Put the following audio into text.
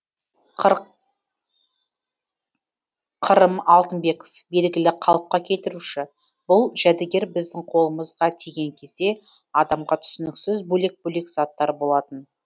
қырым алтынбеков белгілі қалыпқа келтіруші бұл жәдігер біздің қолымызға тиген кезде адамға түсініксіз бөлек бөлек заттар болатын